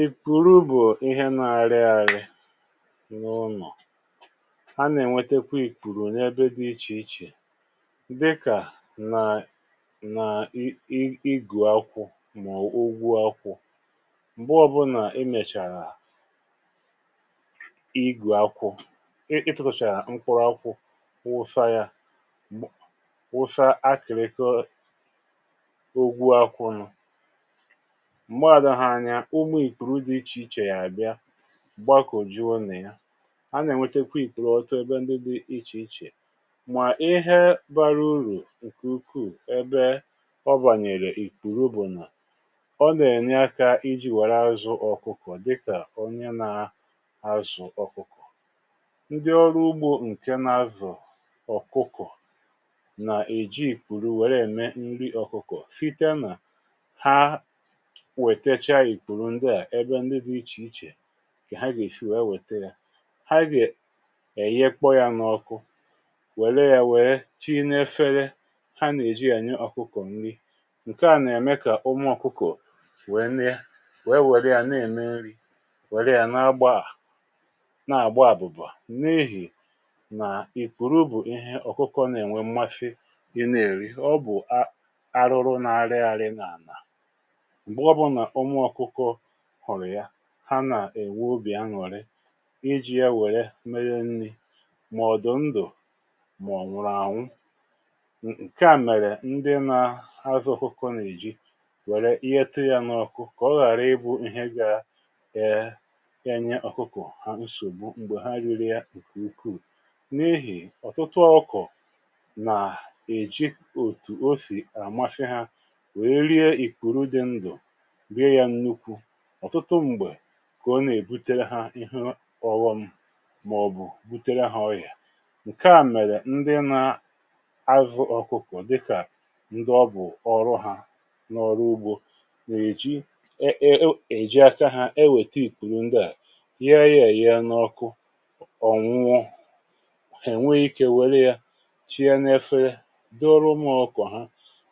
ị̀ pụ̀rụ bụ̀ ihe nà-árị̇ árị̇ n’ụnọ̀, a nà-ènwetekwa ìkpùrù onye ebe dị̇ iche iche, dịkà nà ị gụ̀ akwụ̇ mà ọ̀ bụ̀ ụgwụ akwụ̇. m̀gbè ọ bụ nà ị mèchàrà ị gụ̀ akwụ̇, ị tụ̇tàrà mkpụrụ akwụ̇, wụ̀sà yȧ, wụ̀sà akị̀rị̀kọ ụgwụ akwụ̇ nụ̇ ugbȯ, ìkpùrù dị iche iche yà àbịa gbakọ, juo nà ya. a nà-ènwetekwa ìkpùrù ọtọ ebe ndị dị iche iche, mà ihe bara urù ǹkè ukwuù ebe ọ bànyèrè ìkpùrù bụ̀ nà ọ nà-ènye aka iji̇ wère azụ̀ ọkụkọ, dịkà onye nà-azụ̀ ọkụkọ. ndị ọrụ ugbȯ ǹke nà-azụ̀ ọkụkọ nà-èji ìkpùrù wère ème nri ọkụkọ, fita nà ìkwùrù. ndewȧ ẹbẹ ndị dị̇ iche iche kà ha gà-èshi wèe wèta yȧ, ha gà-èye kpọ yȧ n’ọkụ, wèe wère yȧ, wère tinyefele ha, nà-èji yȧ nye ọkụkọ̀ nri. ǹkè à nà-èmè kà ụmụ̇ ọkụkụ wère ya na-ème nri, wère ya na agbà àbụ̀bà, n’ihì nà ìkwùrù bụ̀ ihe ọ̀kụkọ nà-ènwe mmasi i nà-èri. ọ bụ̀ àrụrù na-ere arị, nà-ànà ha nà-èwu obì aṅụ̀rị, iji̇ ya wère meghee nni̇, mà ọ̀dụ̀ ndụ̀ mà ọ̀ nwụrụ ànwụ. ǹkè a mèrè ndị nà-azụ̇ ọkụkọ nà-èji wère ịgheta yȧ n’ọkụ, kà ọ ghàra ịbụ̇ ihe gà-ènye ọkụkọ ha nsògbu m̀gbè ha ririē. ǹkè ukwuù n’ehì, ọ̀tụtụ ọkọ̀ nà-èji òtù o sì, à mmasị ha, wèe rie ìkpùrù dị ndụ̀. kà ọ̀tụtụ m̀gbè, ọ nà-èbutere hȧ ịhụ ọwụ̇m, màọ̀bụ̀ butere ha ọyà. ǹkè a mèrè ndị nà-azụ̇ ọkụkụ̀, dịkà ndị ọbụ̀ ọrụ ha n’ọrụ ugbȯ, nà-èji èjè aka ha, enwètè ìkpùrù ndịà, yà yà èrịa n’ọkụ. ọ̀ nwèrè ikė wère yȧ chie n’efere dị ọrụ ụmụ̇ ọkọ̀ ha,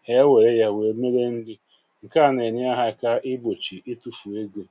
ha wèe yȧ, wèe mere. ndị ǹkè a nà-ènye ha, ha kà enyi̇.